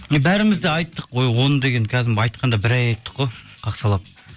бәріміз де айттық ой оны деген кәдімгі айтқанда бір ай айттық қой қақсалап